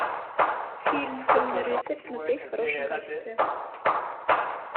фильм темный рыцарь смотреть в хорошем качестве